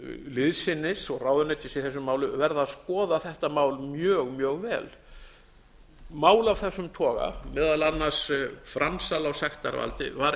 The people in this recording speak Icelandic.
liðsinnis og ráðuneytis í þessu máli verða að skoða þetta mál mjög mjög vel mál af þessum toga meðal annars framsal á sektarvaldi var